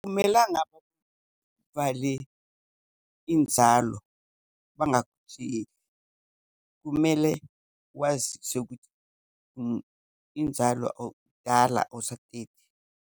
Akumelanga bakuvale inzalo bangakutsheli. Kumele waziswe ukuthi inzalo awusateti.